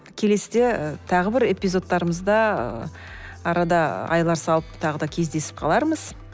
келесіде тағы бір эпизодтарымызда арада айлар салып тағы да кездесіп қалармыз